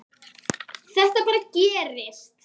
Þetta bara gerist.